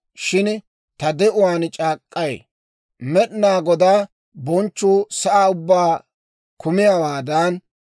Shin ta de'uwaan c'aak'k'ay; Med'inaa Godaa bonchchuu sa'aa ubbaa kumiyaawaadan,